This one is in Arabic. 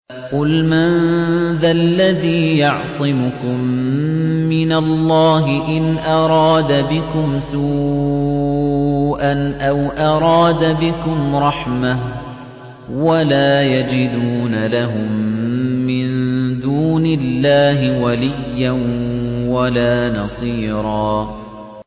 قُلْ مَن ذَا الَّذِي يَعْصِمُكُم مِّنَ اللَّهِ إِنْ أَرَادَ بِكُمْ سُوءًا أَوْ أَرَادَ بِكُمْ رَحْمَةً ۚ وَلَا يَجِدُونَ لَهُم مِّن دُونِ اللَّهِ وَلِيًّا وَلَا نَصِيرًا